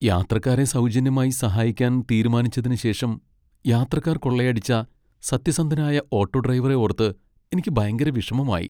യാത്രക്കാരെ സൗജന്യമായി സഹായിക്കാൻ തീരുമാനിച്ചതിന് ശേഷം യാത്രക്കാർ കൊള്ളയടിച്ച സത്യസന്ധനായ ഓട്ടോ ഡ്രൈവറെ ഓർത്ത് എനിക്ക് ഭയങ്കര വിഷമമായി .